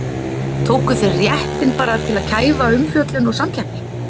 Tóku þeir réttinn bara til að kæfa umfjöllun og samkeppni?